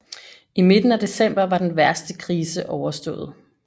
I midten af december var den værste krise overstået